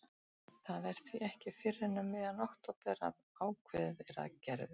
Það er því ekki fyrr en um miðjan október að ákveðið er að Gerður